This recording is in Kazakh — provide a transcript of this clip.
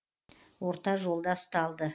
орта жолда ұсталды